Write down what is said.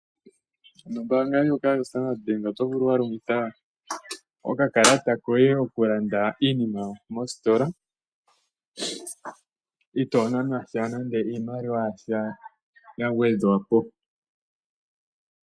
Nombaanga ndjoka yaStandard Bank, oto vulu wa longitha okakalata koye okulanda iinima mositola itoo nanwa sha nande iimaliwa ya sha ya gwedhwa po.